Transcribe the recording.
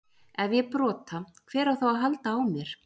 Ef ég brota, hver á þá að halda á mér?